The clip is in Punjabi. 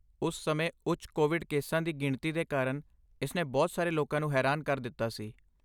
ਉਸ ਸਮੇਂ ਉੱਚ ਕੋਵਿਡ ਕੇਸਾਂ ਦੀ ਗਿਣਤੀ ਦੇ ਕਾਰਨ ਇਸਨੇ ਬਹੁਤ ਸਾਰੇ ਲੋਕਾਂ ਨੂੰ ਹੈਰਾਨ ਕਰ ਦਿੱਤਾ ਸੀ।